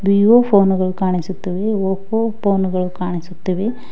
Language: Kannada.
ವಿವೋ ಫೋನು ಗಳು ಕಾಣಿಸುತ್ತವೆ ಒಪ್ಪೋ ಫೋನು ಗಳು ಕಾಣಿಸುತ್ತವೆ.